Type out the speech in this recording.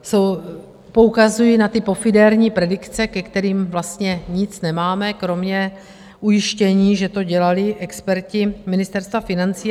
Poukazuji na ty pofiderní predikce, ke kterým vlastně nic nemáme kromě ujištění, že to dělali experti Ministerstva financí.